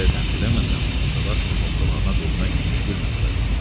Belə zənn eləməsən, Dadaşovun hoqqalarına dözmək müşkül məsələdir.